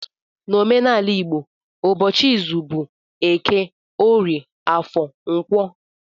N'omenala igbo ụbọchị izu bụ eke, orie, afọ, nkwọ